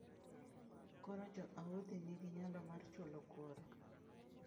Koro Jo-Houthi nigi nyalo mar chulo kuoro.